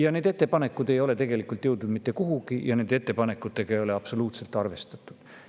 Aga need ettepanekud ei ole tegelikult jõudnud mitte kuhugi ja nende ettepanekutega ei ole absoluutselt arvestatud.